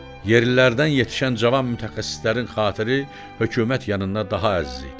Yerlilərdən yetişən cavan mütəxəssislərin xatiri hökumət yanında daha əziz idi.